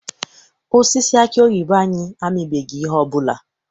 Osisi aki oyibo anyị amibeghị ihe ọbụla.